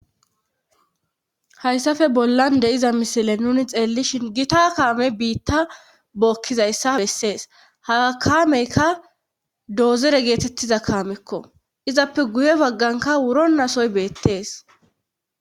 hayssafe bollan de iza misile nuni xeelishin gita kaame biitta bookkizayssa bessees haga kaameykka doozere geetettiza kaamekko izappe guye bagganka wuro nasoy beettees